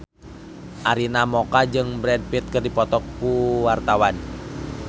Arina Mocca jeung Brad Pitt keur dipoto ku wartawan